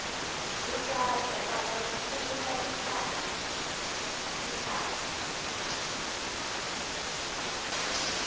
zwifhato kana u pfulusa mithara